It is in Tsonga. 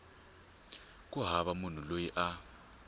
ku hava munhu loyi a